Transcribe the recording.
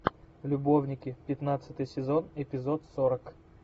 любовники пятнадцатый сезон эпизод сорок